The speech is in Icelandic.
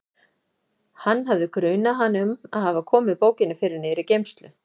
Hann hafði grunað hana um að hafa komið bókinni fyrir niðri í geymslu.